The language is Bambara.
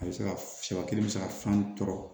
A bɛ se ka sabati a bɛ se ka san tɔɔrɔ